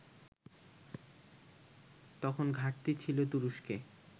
তখন ঘাটতি ছিল তুরস্কে